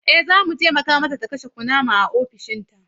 Eh, za mu taimaka mata ta kashe kunama a ofishinta.